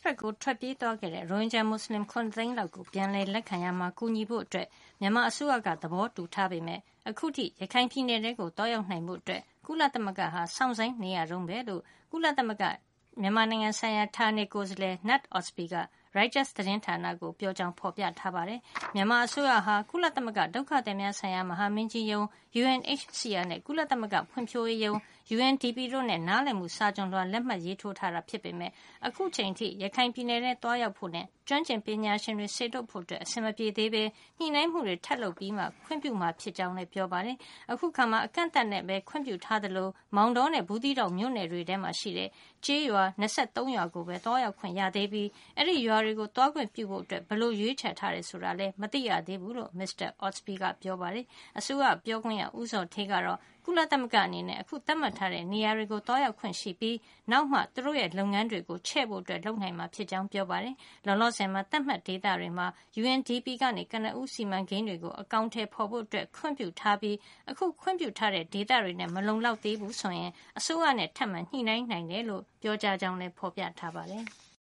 ဘက်ကို ထွက်ပြေးသွားခဲ့တဲ့ ရိုဟင်ဂျာ မွတ်စလင် ၇ သိန်းလောက်ကို ပြန်လည်လက်ခံရာမှာ ကူညီဖို့အတွက် မြန်မာအစိုးရက သဘောတူထားပေမယ့် အခုထိ ရခိုင်ပြည်နယ်ထဲကို သွားရောက်နိုင်ဖို့ ကုလသမဂ္ဂက စောင့်ဆိုင်းနေရတုန်းပဲလို့ ကုလသမမဂ္ဂ ဌာနေကိုယ်စားလှယ် Knut Ostby က Reuters သတင်းဌာနကို ပြောကြောင်း ဖေါ်ပြထားပါတယ်။ မြန်မာအစိုးရဟာ ကုလသမဂ္ဂ ဒုက္ခသည်များဆိုင်ရာ မဟာမင်းကြီးရုံး UNHCR နဲ့ ကုလသမဂ္ဂ ဖွံဖြိုးရေးရုံး UNDP တို့နဲ့ နားလည်မှု စာချွန်လွှာ လက်မှတ်ရေးထိုးထားတာ ဖြစ်ပေမယ့် အခုအထိ ရခိုင်ပြည်နယ်ထဲ သွားရောက်ဖို့ နဲ့ ကျွမ်းကျင်ပညာရှင်တွေ စေလွှတ်ဖို့ အဆင်မပြေသေးပဲ ညှိနှိုင်းမှုတွေ ထပ်လုပ်ပြီမှ ခွင့်ပြုမှာ ဖြစ်ကြောင်းလည်း ပြောပါတယ်။ အခုအခါမှာ အကန့်အသတ်နဲ့ပဲ ခွင့်ပြုထားသလို မောင်တောနဲ့ ဘူးသီးတောင် မြို့နယ်တွေထဲမှာရှိတဲ့ ကျေးရွာ ၂၃ ရွာကိုပဲ သွားရောက်ခွင့် ရသေးပြီး အဲဒီရွာတွေကို သွားခွင့်ပြုဖို့ ဘယ်လို ရွေးချယ်ထားတယ်ဆိုတာလည်း မသိရသေးဘူးလို့ မစ္စတာ Ostby က ပြောပါတယ်။ အစိုးရပြောခွင့်ရ ဦးဇော်ဌေးကတော့ ကုလသမဂ္ဂအနေနဲ့ အခု သတ်မှတ်ထားတဲ့ နေရာတွေကို သွားရောက်ခွင့်ရှိပြီး နောက်မှ သူတို့လုပ်ငန်းတွေ ချဲ့ဖို့ လုပ်နိုင်မှာ ဖြစ်ကြောင်း ပြောပါတယ်။ လောလောဆယ်မှာ သတ်မှတ်ဒေသတွေမှာ UNDP က ကနဦး စီမံကိန်းတွေကို အကောင်ထည် ဖေါ်ဖို့ ခွင့်ပြုထားပြီး အခု ခွင့်ပြုထးတဲ့ ဒေသတွေနဲ့ မလုံလောက်သေးဘူး ဆိုရင် အစိုးရနဲ့ ထပ်မံ ညှိနှိုင်းနိုင်တယ်လို့ ပြောကြားကြောင်း ဖေါ်ပြထားပါတယ်။